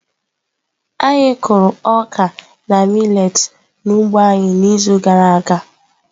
Anyị kụrụ ọka na millet n'ugbo anyị n'izu gara aga.